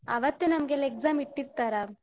ಅವತ್ತು ನಮ್ಗೆಲ್ಲ exam ಇಟ್ಟಿರ್ತರಾ.